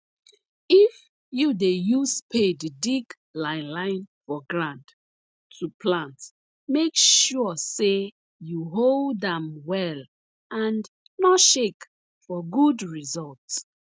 if you dey use spade dig line line for ground to plant make sure say you hold am well and nor shake for good result